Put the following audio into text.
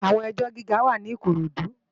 Ilé èjò gigá wá ni Ikorodu